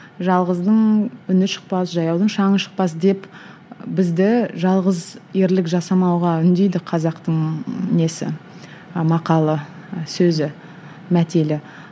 жалғыздың үні шықпас жаяудың шаңы шықпас деп бізді жалғыз ерлік жасамауға үндейді қазақтың несі ы мақалы і сөзі мәтелі